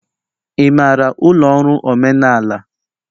Ị maara ụlọ ọrụ omenala?